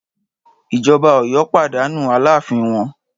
Ìjọba Ọ̀yọ́ pàdánù alááfín wọn